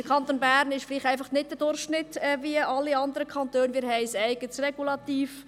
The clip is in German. Der Kanton Bern entspricht vielleicht nicht dem Durchschnitt der Kantone, denn wir haben ein eigenes Regulativ.